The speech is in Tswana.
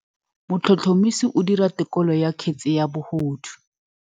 Motlhotlhomisi o dira têkolô ya kgetse ya bogodu.